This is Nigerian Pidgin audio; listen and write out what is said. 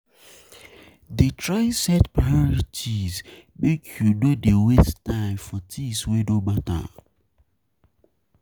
Dey try set priorities make you no dey waste time for tins wey no mata.